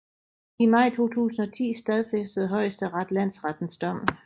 I maj 2010 stadfæstede Højesteret landsrettens dom